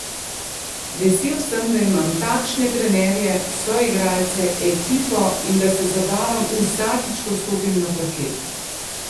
Vesel sem, da imam takšne trenerje, soigralce, ekipo in da se zabavam vsakič, ko stopim na parket.